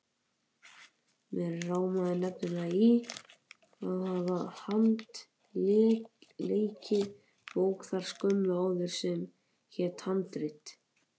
Mig rámaði nefnilega í að hafa handleikið bók þar skömmu áður sem hét Handrit.